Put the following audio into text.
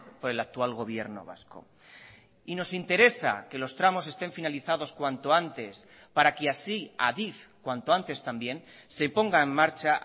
por el actual gobierno vasco y nos interesa que los tramos estén finalizados cuanto antes para que así adif cuanto antes también se ponga en marcha